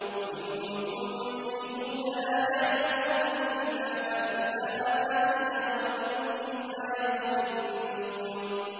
وَمِنْهُمْ أُمِّيُّونَ لَا يَعْلَمُونَ الْكِتَابَ إِلَّا أَمَانِيَّ وَإِنْ هُمْ إِلَّا يَظُنُّونَ